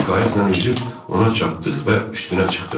Biz qayıqla üzüb ona çatdıq və üstünə çıxdıq.